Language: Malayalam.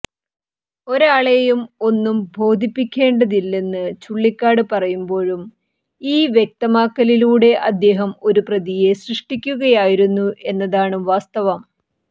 ഒരാളേയും ഒന്നും ബോധിപ്പിക്കേണ്ടതില്ലെന്ന് ചുള്ളിക്കാട് പറയുമ്പോഴും ഈ വ്യക്തമാക്കലിലൂടെ അദ്ദേഹം ഒരു പ്രതിയെ സൃഷ്ടിക്കുകയായിരുന്നു എന്നതാണ് വാസ്തവം